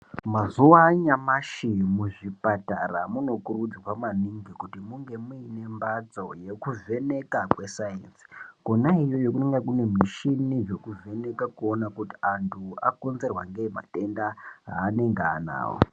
Mazuva anyamashi muzvipatara unokurudzirwa maningi kuti munge mune mbadzo yekuvheneka kwesainzi kona iyoyo kunenge kune mishini inovheneka kuona kuti anhu akonzerwa ngei matenda anenge anawo.